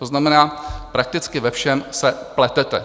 To znamená, prakticky ve všem se pletete.